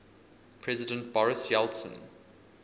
president boris yeltsin